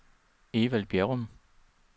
Evald Bjerrum